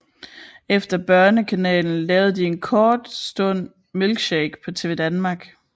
Efter Børnekanalen lavede de for en kort stund Milkshake på TvDanmark